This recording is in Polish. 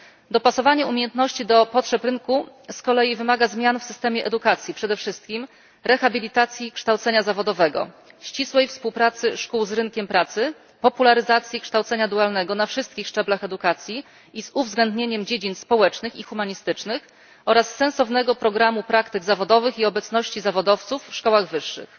Dopasowanie umiejętności do potrzeb rynku wymaga z kolei zmian w systemie edukacji, przede wszystkim rehabilitacji kształcenia zawodowego, ścisłej współpracy szkół z rynkiem pracy, popularyzacji kształcenia dualnego na wszystkich szczeblach edukacji z uwzględnieniem dziedzin społecznych i humanistycznych oraz sensownego programu praktyk zawodowych i obecności zawodowców w szkołach wyższych.